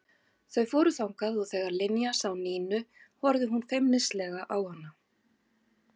Þau fóru þangað og þegar Linja sá Nínu horfði hún feimnislega á hana.